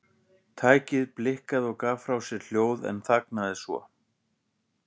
Tækið blikkaði og gaf frá sér hljóð en þagnaði svo.